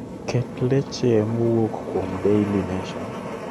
Ket leche mowuok kuom daily nation